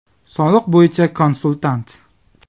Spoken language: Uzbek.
Soliq bo‘yicha konsultant.